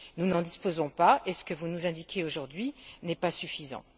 Nous n'en disposons pas, et ce que vous nous indiquez aujourd'hui n'est pas suffisant.